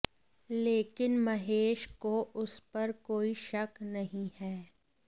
लेकिन महेश को उस पर कोई शक नहीं है